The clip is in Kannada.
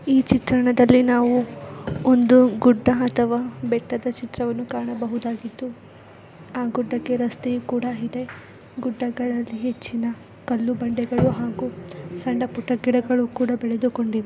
ಈ ಚಿತ್ರಣದಲ್ಲಿ ನಾವು ಒಂದು ಗುಡ್ಡ ಅಥವಾ ಬೆಟ್ಟಡಾ ಚಿತ್ರವನ್ನು ಕಾಣಬಹುದಾಗಿತ್ತು. ಆ ಗುಡ್ಡಕ್ಕೆ ರಸ್ತೆ ಕೂಡ ಇದೆ. ಗುಡ್ಡಗಳಲ್ಲಿ ಹೆಚ್ಚಿನ ಕಲ್ಲು ಬಂಡೆಗಳು ಹಾಗು ಸಣ್ಣ ಪುಟ್ಟ ಗಿಡಗಳು ಕೂಡ ಬೆಳೆದಕೊಂಡಿವೆ.